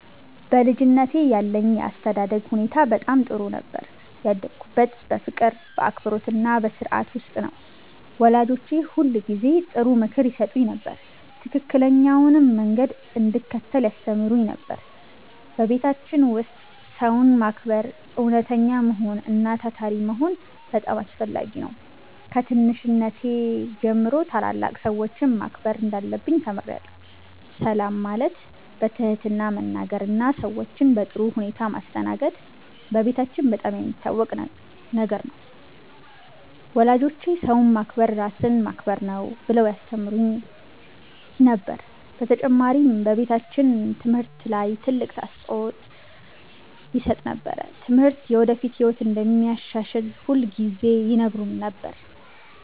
በልጅነቴ ያለኝ የአስተዳደግ ሁኔታ በጣም ጥሩ ነበር። ያደግሁት በፍቅር፣ በአክብሮትና በሥርዓት ውስጥ ነው። ወላጆቼ ሁልጊዜ ጥሩ ምክር ይሰጡኝ ነበር፣ ትክክለኛውንም መንገድ እንድከተል ያስተምሩኝ ነበር። በቤታችን ውስጥ ሰውን ማክበር፣ እውነተኛ መሆን እና ታታሪ መሆን በጣም አስፈላጊ ነበር። ከትንሽነቴ ጀምሮ ታላላቅ ሰዎችን ማክበር እንዳለብኝ ተምሬአለሁ። ሰላም ማለት፣ በትህትና መናገር እና ሰዎችን በጥሩ ሁኔታ ማስተናገድ በቤታችን በጣም የሚታወቅ ነገር ነበር። ወላጆቼ “ሰውን ማክበር ራስን ማክበር ነው” ብለው ያስተምሩን ነበር። በተጨማሪም በቤታችን ትምህርት ላይ ትልቅ አፅንዖት ይሰጥ ነበር። ትምህርት የወደፊት ህይወትን እንደሚያሻሽል ሁልጊዜ ይነግሩን ነበር።